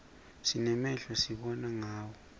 sinemehlo sibona ngawo